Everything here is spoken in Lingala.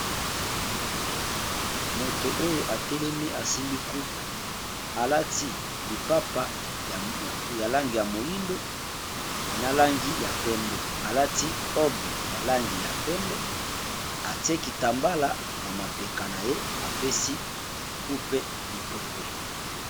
Moto oyo a telemi a simbi coupe a lati lipapa ya langi ya moyindo na langi ya pembe, a lati robe ya langi ya pembe, a tiki tambala na mapeka na ye, a pesi coupe bipwepwe .